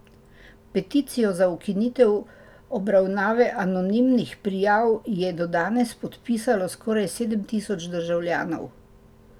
Peticijo za ukinitev obravnave anonimnih prijav je do danes podpisalo skoraj sedem tisoč državljanov.